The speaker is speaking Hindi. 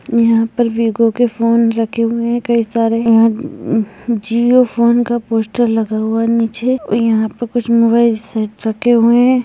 यहाँ पर वीवो के फोन रखे हुए हैं कई सारे यहाँ जियो फोन का पोस्टर लगा हुआ है नीचे और यहाँ पर कुछ मोबाइल सेट रखे हुए हैं।